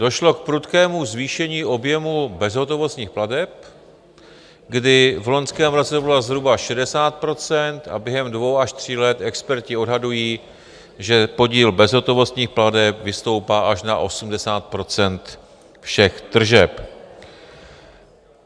Došlo k prudkému zvýšení objemu bezhotovostních plateb, kdy v loňském roce to bylo zhruba 60 % a během dvou až tří let experti odhadují, že podíl bezhotovostních plateb vystoupá až na 80 % všech tržeb.